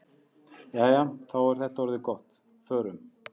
Jæja, þá er þetta orðið gott. Förum.